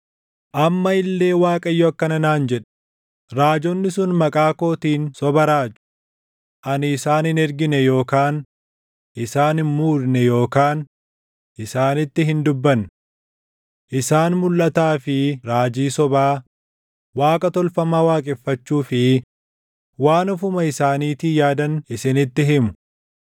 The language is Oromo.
Amma illee Waaqayyo akkana naan jedhe; “Raajonni sun maqaa kootiin soba raaju. Ani isaan hin ergine yookaan isaan hin muudne yookaan isaanitti hin dubbanne. Isaan mulʼataa fi raajii sobaa, waaqa tolfamaa waaqeffachuu fi waan ofuma isaaniitii yaadan isinitti himu.